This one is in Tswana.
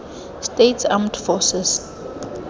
states armed forces